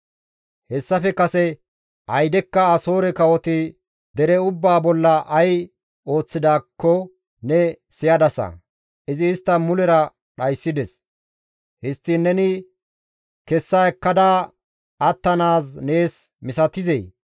Hayssafe kase aydekka Asoore kawoti dere ubbaa bolla ay ooththidaakko ne siyadasa; izi istta mulera dhayssides; histtiin neni kessa ekkada attanaaz nees misatizee?